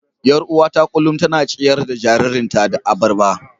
Yar uwata kullum tana ciyar da jaririnta da abarba.